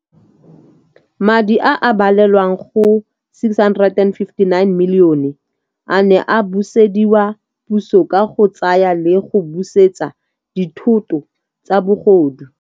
Madi a a balelwang go R659 milione a ne a busediwa puso ka go tsaya le go busetsa dithoto tsa bogodu.